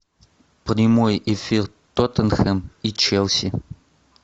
прямой эфир тоттенхэм и челси